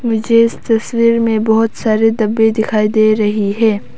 मुझे इस तस्वीर में बहोत सारे डब्बे दिखाई दे रही है।